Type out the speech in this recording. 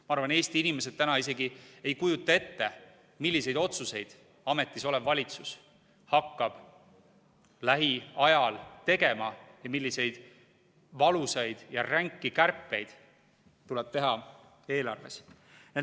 Ma arvan, et Eesti inimesed täna isegi ei kujuta ette, milliseid otsuseid ametis olev valitsus hakkab lähiajal tegema ja milliseid valusaid ja ränki kärpeid tuleb teha eelarves.